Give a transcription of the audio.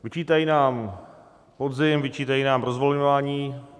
Vyčítají nám podzim, vyčítají nám rozvolňování.